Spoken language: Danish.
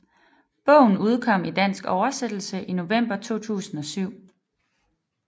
Bogen udkom i dansk oversættelse i november 2007